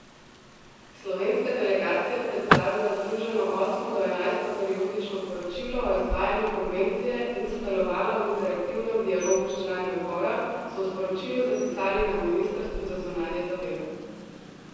Slovenska delegacija predstavila združeno osmo do enajsto periodično poročilo o izvajanju konvencije in sodelovala v interaktivnem dialogu s člani odbora, so v sporočilu zapisali na ministrstvu za zunanje zadeve.